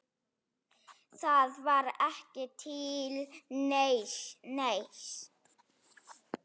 Það var ekki til neins.